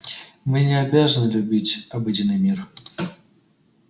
мы не обязаны любить обыденный мир